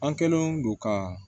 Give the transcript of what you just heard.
An kɛlen don ka